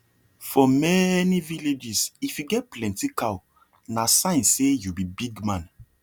for many villages if you get plenty cow na sign say you be big man